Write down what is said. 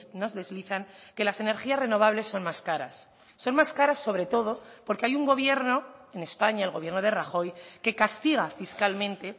nos deslizan que las energías renovables son más caras son más caras sobre todo porque hay un gobierno en españa el gobierno de rajoy que castiga fiscalmente